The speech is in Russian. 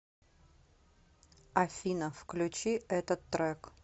афина включи этот трек